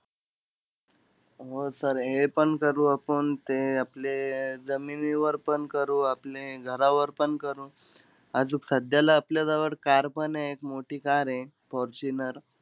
हो sir हेपण करू आपण. ते आपले अं जमिनीवर पण करू, आपले घरावर पण करू. आजूक, सध्याला आपल्याजवळ car पण आहे. एक मोठी car हे फॉर्च्युनर.